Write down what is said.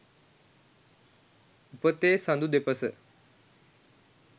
උපතේ සඳු දෙපස